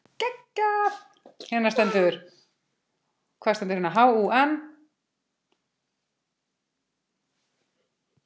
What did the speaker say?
Hún pírir á mig augun.